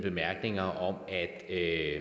er